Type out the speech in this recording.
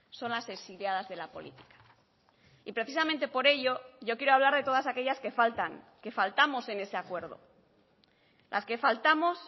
son las exiliadas de la política y precisamente por ello yo quiero hablar de todas aquellas que faltan que faltamos en ese acuerdo las que faltamos